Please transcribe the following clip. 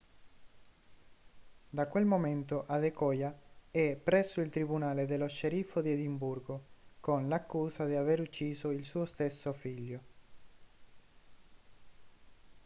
da quel momento adekoya è presso il tribunale dello sceriffo di edimburgo con l'accusa di aver ucciso il suo stesso figlio